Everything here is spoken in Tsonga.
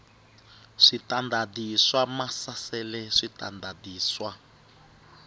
switandati swa maasesele switandati swa